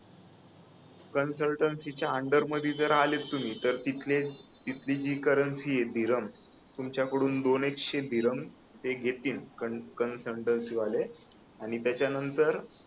कन्सल्टन्सीच्या under मध्ये आले तुम्ही तर तिथले तिथली जी करन्सी य धीरन तुमच्याकडून दोन एक शे धीरन घेतील ते कन्सल्टन्सी वाले आणि त्याच्यानंतर